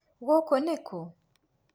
Gũkũ ni kũ?